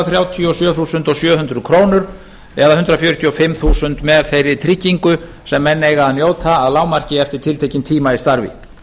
þrjátíu og sjö þúsund sjö hundruð krónur eða hundrað fjörutíu og fimm þúsund með þeirri tryggingu sem menn eiga að njóta að lágmarki eftir tiltekinn tíma í starfi